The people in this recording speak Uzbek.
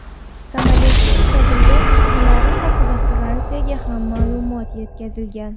Samolyotning topilgan qismlari haqida Fransiyaga ham ma’lumot yetkazilgan.